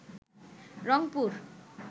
Rangpur